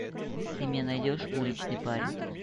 ты мне найдешь уличный парень